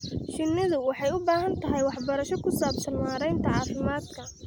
Shinnidu waxay u baahan tahay waxbarasho ku saabsan maaraynta caafimaadka.